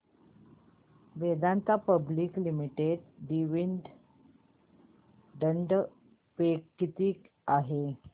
Vedanta public limited dividend pay किती आहे